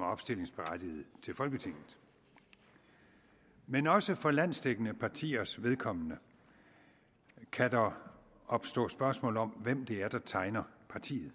er opstillingsberettiget til folketinget men også for landsdækkende partiers vedkommende kan der opstå spørgsmål om hvem det er der tegner partiet